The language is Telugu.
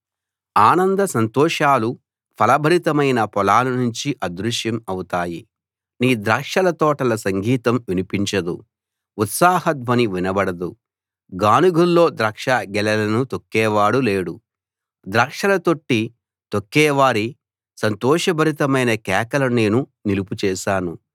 ఆనంద సంతోషాలు ఫలభరితమైన పొలాల నుంచి అదృశ్యం అవుతాయి నీ ద్రాక్షల తోటలో సంగీతం వినిపించదు ఉత్సాహ ధ్వని వినబడదు గానుగుల్లో ద్రాక్షగెలలను తొక్కేవాడు లేడు ద్రాక్షల తొట్టి తొక్కేవారి సంతోషభరితమైన కేకలు నేను నిలుపు చేశాను